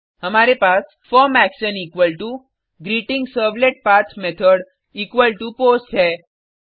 हमारे पास form action equal to greeting servlet path method equal to post है